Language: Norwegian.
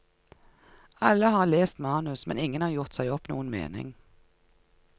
Alle har lest manus, men ingen har gjort seg opp noen mening.